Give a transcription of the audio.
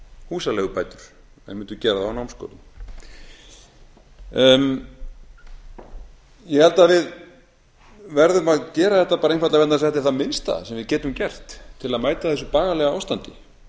húsaleigubætur en mundu gera það á námsgörðum ég held að við verðum að gera þetta bara einfaldlega vegna þess að þetta er það minnsta sem við getum gert til að mæta þessu bagalega ástandi